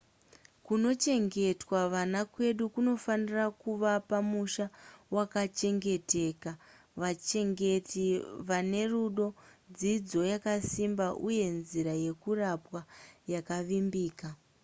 kunochengetwa vana kwedu kunofanira kuvapa musha wakachengeteka vachengeti vane rudo dzidzo yakasimba uye nzira yekurapwa yakavimbika